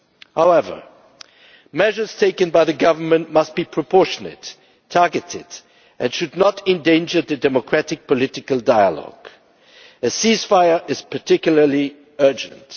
However, measures taken by the Government must be proportionate and targeted, and they should not endanger the democratic political dialogue. A ceasefire is particularly urgent.